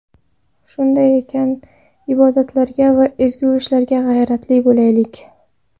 Shunday ekan, ibodatlarga va ezgu ishlarga g‘ayratli bo‘laylik.